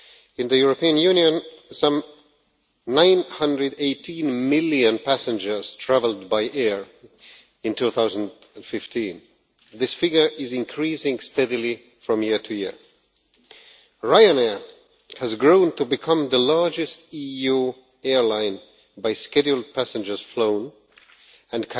In the European Union, some 918 million passengers travelled by air in 2015 and this figure is increasing steadily from year to year. Ryanair has grown to become the largest EU airline by scheduled passengers flown, and